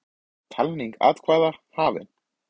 Talning atkvæða hafin